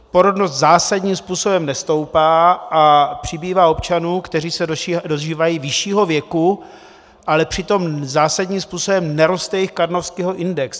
Porodnost zásadním způsobem nestoupá a přibývá občanů, kteří se dožívají vyššího věku, ale přitom zásadním způsobem neroste jejich Karnofského index.